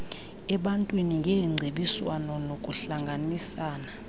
ebantwini ngeengcebiswano nokuhlanganisana